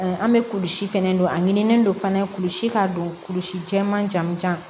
An bɛ kulisi fɛnɛ don a ɲinilen don fana kulusi k'a don kulusi jɛman jaman jan